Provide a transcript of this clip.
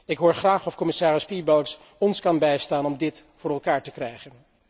Ik hoor graag van commissaris Piebalgs of hij ons kan bijstaan om dit voor elkaar te krijgen.